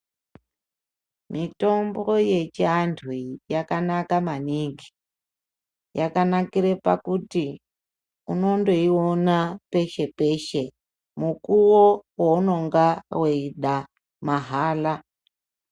Mitombo yechiantuyi yakanaka maningi. Yakanakire pakuti unondoiona peshe-peshe, mukuwo weunonga weida mahala.